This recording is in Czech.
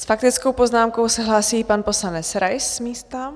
S faktickou poznámkou se hlásí pan poslanec Rais z místa.